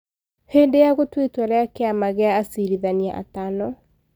hĩndĩ ya gũtua itua rĩa kĩama gĩa acirithania atano,